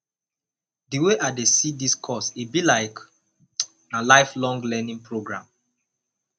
di wey i dey see dis course e be like na lifelong learning program